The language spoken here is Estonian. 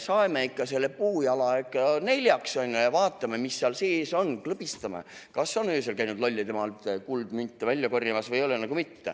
Osal me saeme selle puujala ikka neljaks ja vaatame, mis seal sees on, klõbistame, kas on öösel käinud Lollidemaalt kuldmünte välja korjamas või ei ole.